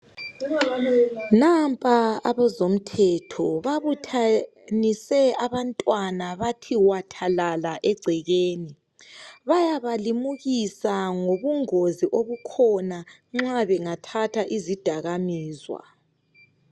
Nampa abezomthetho babuthanise abantwana bathe wathalala egcekeni bayaba limukisa ngobungozi obukhona nxa bengathatha izidakamizwa.